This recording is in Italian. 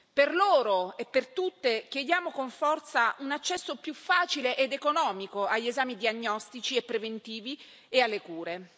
Per loro e per tutte chiediamo con forza un accesso più facile ed economico agli esami diagnostici e preventivi e alle cure.